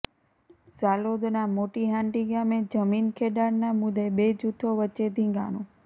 ઝાલોદના મોટી હાંડી ગામે જમીન ખેડાણના મુદ્દે બે જૂથો વચ્ચે ધીંગાણું